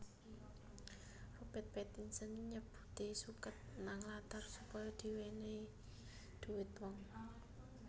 Robert Pattinson nyabuti suket nang latar supaya diwenehi dhuwit wong